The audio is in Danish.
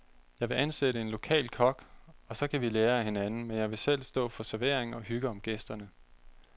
Jeg vil ansætte en lokal kok, og så kan vi lære af hinanden, men jeg vil gerne selv stå for servering og hygge om gæsterne.